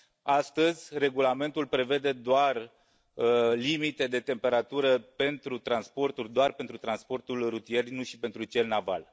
Astăzi, Regulamentul prevede doar limite de temperatură pentru transporturi doar pentru transportul rutier, nu și pentru cel naval.